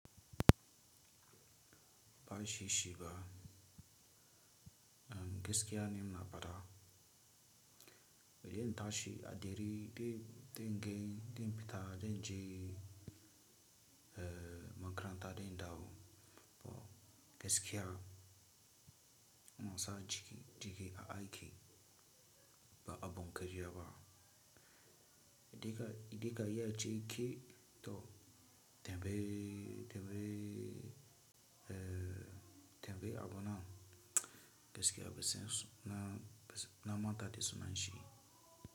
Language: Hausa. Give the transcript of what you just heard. Ba shi shiga, eh, gaskiya ni ina faɗa. Idan na tashi a dere, dan, gani, dan fita, dan je, eh, makaranta, den dawo. To gaskiya, inasa jiki, jiki a aiki ba abun karya ba. Idan ka, idan ka iya cike to, tambayi, tambayi, eh, tambayi abonan gaskiya ban san suna, na manta da suna shi.